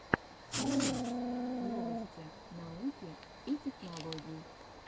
ремикс новости науки и технологий